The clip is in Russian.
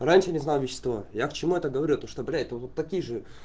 раньше не знал вещество я к чему это говорю то что блять вот такие же